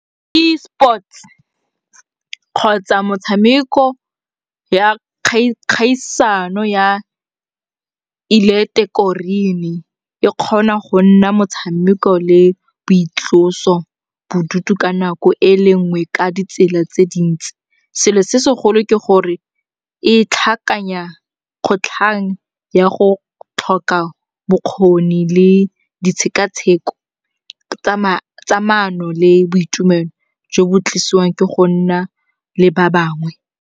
Ke sports kgotsa motshameko ya kgaisano ya e kgona go nna motshameko le boitloso bodutu ka nako e le nngwe ka ditsela tse dintsi. Selo se segolo ke gore e tlhakanya kgotlhang ya go tlhoka bokgoni le ditshekatsheko tsa maano le boitumelo jo bo tlisiwang ke go nna le ba bangwe.